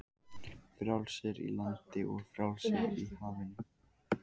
Frjálsir í landi og frjálsir á hafinu.